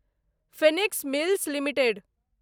Phoenix Mills limited